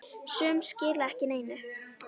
Sum skila ekki neinu.